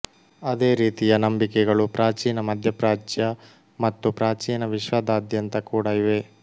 ಅದೇ ರೀತಿಯ ನಂಬಿಕೆಗಳು ಪ್ರಾಚೀನ ಮಧ್ಯಪ್ರಾಚ್ಯ ಮತ್ತು ಪ್ರಾಚೀನ ವಿಶ್ವದಾದ್ಯಂತ ಕೂಡ ಇವೆ